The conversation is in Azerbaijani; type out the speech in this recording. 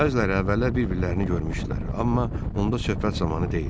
Bəziləri əvvəllər bir-birlərini görmüşdülər, amma onda söhbət zamanı deyildi.